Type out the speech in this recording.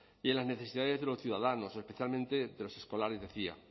y en las necesidades de los ciudadanos especialmente de los escolares decía